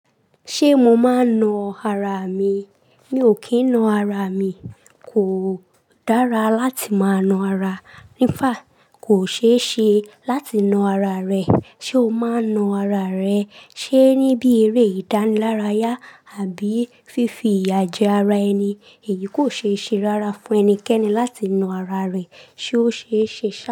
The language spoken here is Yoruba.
Ṣé mo máa ń na ara mi? Mi ò kí ń na ara mi. Kò dára láti máa na ara. Ní fàá kò ṣe é ṣe láti na ara rẹ. Ṣé o máa ń na ara rẹ? Ṣé ní bí eré ìdánilárayá àbí fífi ìyà jẹ ara ẹni. Èyí kò ṣe é ṣe rárá fún ẹnikẹ́ni láti na ara rẹ. Ṣé ó ṣe é ṣe ṣa?